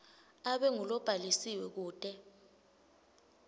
abe ngulobhalisiwe kute